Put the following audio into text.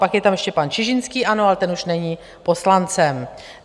Pak je tam ještě pan Čižinský - ano, ale ten už není poslancem.